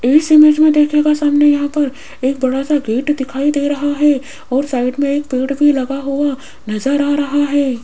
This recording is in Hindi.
इस इमेज में देखिएगा सामने यहां पर एक बड़ा सा गेट दिखाई दे रहा है और साइड में एक पेड़ भी लगा हुआ नजर आ रहा है।